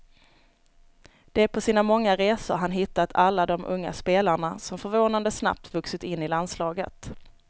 Det är på sina många resor han hittat alla de unga spelarna som förvånande snabbt vuxit in i landslaget.